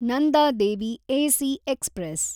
Nanda Devi AC express